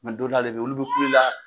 Nga dɔ n'ale be yen olu be kulu la